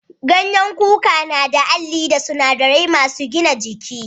Ganyen kuka suna da Alli da sunadarai masun gina jiki.